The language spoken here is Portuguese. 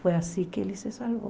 Foi assim que ele se salvou.